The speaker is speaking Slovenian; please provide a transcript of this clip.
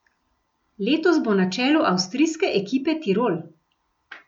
Letos bo na čelu avstrijske ekipe Tirol.